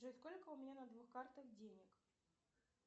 джой сколько у меня на двух картах денег